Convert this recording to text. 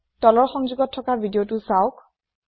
তলৰ সংযোগত থকা ভিদিয়তো চাওক